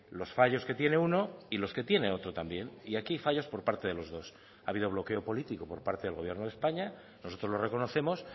los fallos que tiene uno y los que tiene otro también y aquí fallos por parte de los dos ha habido bloqueo político por parte del gobierno de españa nosotros lo reconocemos